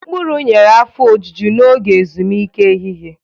Mkpuru nyere afọ ojuju n'oge ezumike ehihie.